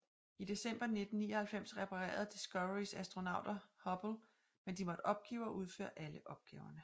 I december 1999 reparerede Discoverys astronauter Hubble men de måtte opgive at udføre alle opgaverne